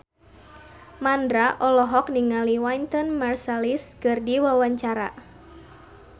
Mandra olohok ningali Wynton Marsalis keur diwawancara